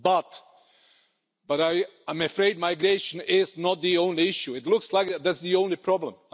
But I am afraid migration is not the only issue, though it looks like that's the only problem.